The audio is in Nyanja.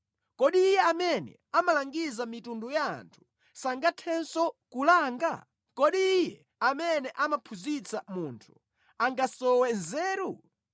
Kodi Iye amene amalangiza mitundu ya anthu sangathenso kulanga? Kodi Iye amene amaphunzitsa munthu angasowe nzeru?